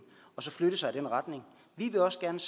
og så flytte sig i den retning vi vil også gerne